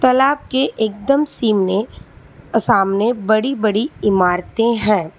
तालाब के एकदम सिमने सामने बड़ी बड़ी इमारतें हैं।